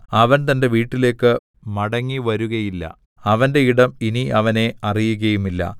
അവൻ തന്റെ വീട്ടിലേക്ക് മടങ്ങിവരുകയില്ല അവന്റെ ഇടം ഇനി അവനെ അറിയുകയുമില്ല